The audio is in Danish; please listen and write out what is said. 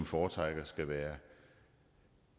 foretrækker skal være